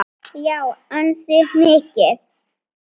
Já, ansi mikið.